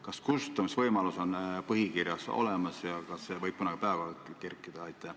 Kas kustutamisvõimalus on põhikirjas olemas ja kas see võib kunagi päevakorda kerkida?